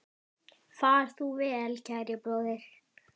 Far þú vel, kæri bróðir.